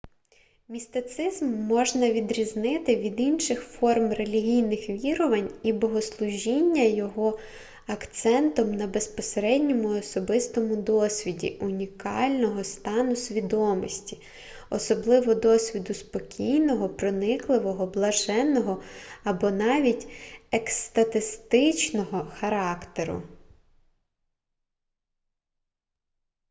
містицизм можна відрізнити від інших форм релігійних вірувань і богослужіння його акцентом на безпосередньому особистому досвіді унікального стану свідомості особливо досвіду спокійного проникливого блаженного або навіть екстатичного характеру